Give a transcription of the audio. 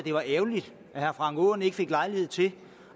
det var ærgerligt at herre frank aaen ikke fik lejlighed til